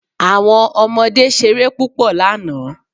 Àwọn ọmọdé ṣeré púpọ̀ lánàá.